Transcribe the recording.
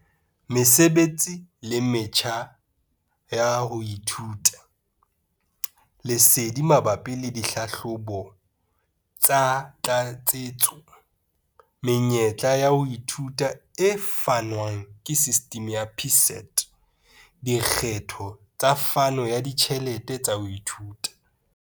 Mesebetsi le metjha ya ho ithuta. Lesedi mabapi le dihlahlobo tsa tlatsetso. Menyetla ya ho ithuta e fanwang ke sistimi ya PSET. Dikgetho tsa phano ya ditjhelete tsa ho ithuta.